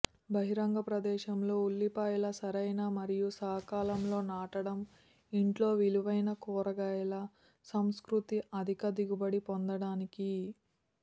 బహిరంగ ప్రదేశంలో ఉల్లిపాయల సరైన మరియు సకాలంలో నాటడం ఇంట్లో విలువైన కూరగాయల సంస్కృతి అధిక దిగుబడి పొందటానికి కీ